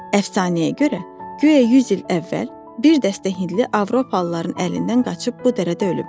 Əfsanəyə görə, guya 100 il əvvəl bir dəstə hindli avropalıların əlindən qaçıb bu dərədə ölüblər.